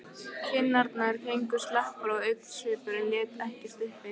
Kinnarnar héngu slapar og augnsvipurinn lét ekkert uppi.